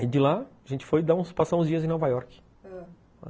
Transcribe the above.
E de lá, a gente foi passar uns dias em Nova York.